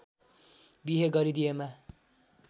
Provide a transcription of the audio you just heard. बिहे गरिदिएमा